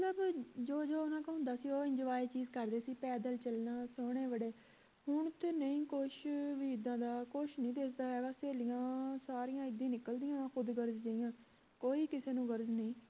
ਜੋ ਜੋ ਓਹਨਾ ਕੋਲ ਹੁੰਦਾ ਸੀ ਉਹ ਚੀਜ ਕਰਦੇ ਸੀ ਪੈਦਲ ਚਲਣਾ ਸੋਹਣੇ ਬੜੇ ਹੁਣ ਤੇ ਨਹੀਂ ਕੁਸ਼ ਵੀ ਇੱਦਾਂ ਦਾ ਕੁਸ਼ ਨੀ ਦਿਸਦਾ ਹੈਗਾ ਸਹੇਲੀਆਂ ਸਾਰੀਆਂ ਇੱਦਾਂ ਹੀ ਨਿਕਲਦੀਆਂ ਖੁਦਗਰਜ਼ ਜਹੀਆਂ ਕੋਈ ਕਿਸੇ ਨੂੰ ਗਰਜ ਨਹੀਂ